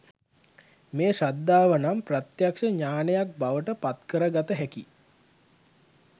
මේ ශ්‍රද්ධාව නම් ප්‍රත්‍යක්‍ෂ ඥානයක් බවට පත්කරගත හැකි